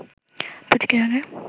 প্রতিটি রঙের